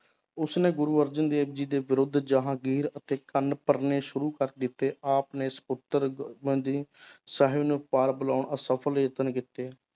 ਉਸਨੇ ਗੁਰੂ ਅਰਜਨ ਦੇਵ ਜੀ ਦੇ ਵਿਰੁੱਧ ਜਹਾਂਗੀਰ ਅਤੇ ਕੰਨ ਭਰਨੇ ਸ਼ੁਰੂ ਕਰ ਦਿੱਤੇ, ਆਪ ਨੇ ਸਪੁੱਤਰ ਸਾਹਿਬ ਨੂੰ ਅਸਫ਼ਲ ਯਤਨ ਕੀਤੇ।